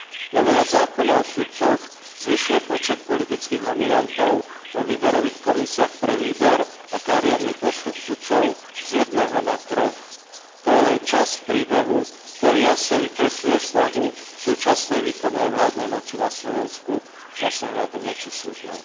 Novela zákona o sudcoch zvyšuje počet politických nominantov vo výberových komisiách pre výber a kariérny postup sudcov z jedného na troch. To je len časť príbehu, ktorý jasne vykresľuje snahu súčasnej výkonnej a vládnej moci na Slovensku zasahovať do moci súdnej.